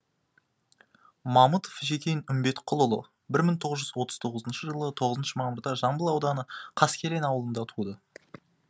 мамытов жекен үмбетқұлұлы бір мың тоғыз жү отыз тоғызыншы жылы тоғызыншы мамырда жамбыл ауданы қаскелең ауылында туды